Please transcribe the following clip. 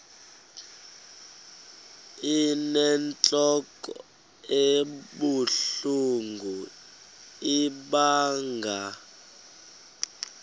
inentlok ebuhlungu ibanga